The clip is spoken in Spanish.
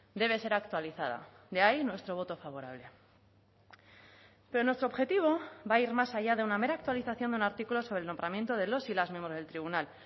debe ser actualizada de ahí nuestro voto favorable pero nuestro objetivo va a ir más allá de una mera actualización de un artículo sobre el nombramiento de los y las miembros del tribunal